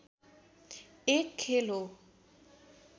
एक खेल हो